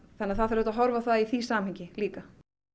það þarf að horfa á það frá því samhengi líka